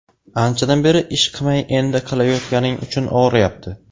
Anchadan beri ish qimay endi qilyotganing uchun og‘riyapti.